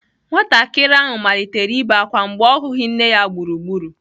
Nwatakịrị ahụ malitere ibe ákwá mgbe ọ hụghị nne ya gburugburu.